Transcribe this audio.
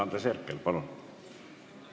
Andres Herkel, palun!